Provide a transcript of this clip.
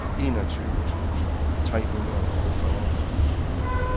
enogtyve tusind tre hundrede og fyrre